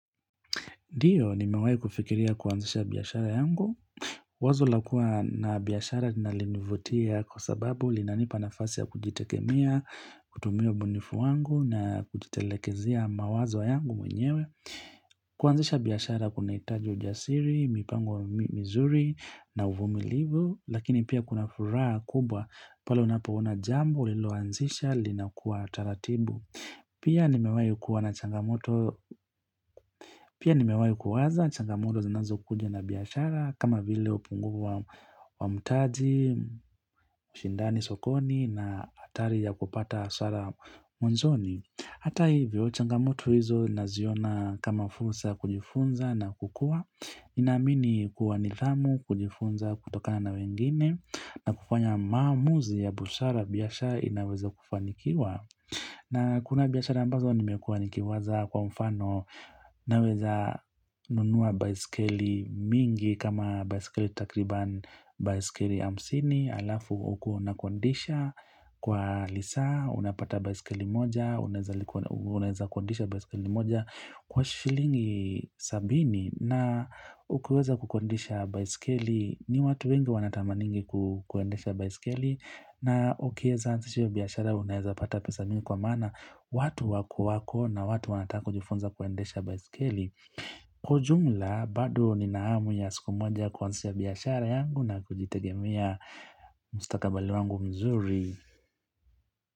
Ndio, nimewai kufikiria kuanzisha biyashara yangu. Wazo lakua na biyashara linanilinavutia kwa sababu linanipa nafasi ya kujitegemea, kutumia ubunifu wangu na kujitelekezia mawazo yangu mwenyewe. Kuanzisha biyashara kuna itaji ujasiri, mipango mizuri na uvumi livu, lakini pia kuna furaha kubwa palo unapoona jambo ilo wanzisha linakuwa taratibu. Pia nimewai kuwa na changamoto, pia nimewayo kuwaza, changamoto zinazo kuja na biyashara kama vile upunguvu wa mtaji, shindani sokoni na atari ya kupata hasara mwanzoni. Hata hivyo, changamoto hizo naziona kama fursa kujifunza na kukua, namini kuwa nidhamu, kujifunza, kutokana na wengine, na kufanya mamuzi ya busara biyashara inaweza kufanikiwa. Na kuna biyashara ambazo ni mekua nikiwaza kwa mfano. Naweza nunua baisikeli mingi kama baisikeli takriban baisikeli amsini alafu ukuo na kondisha kwa lisa unapata baisikeli moja unaeza. Unaheza kondisha baisikeli moja kwa shilingi sabini na. Ukiweza kukondisha baisikeli ni watu wengi wanatamaningi kuendesha baisikeli na ukie zaansishio biyashara unaheza pata pesa mimi kwa mana watu wako wako na watu wanataka ujufunza kuendesha baiskeli. Kwa jumla badu ni naamu ya siku mmoja kuanzisha biyashara yangu na kujitegemia mustakabali wangu mzuri.